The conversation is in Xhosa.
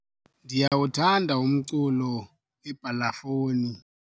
ndiyawuthanda umculo webhalafoni